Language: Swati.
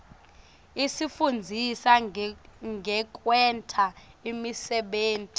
isifundzisa ngekwenta imisebenti